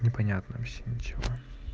непонятно вообще ничего